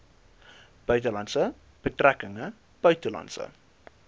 buitelandse betrekkinge buitelandse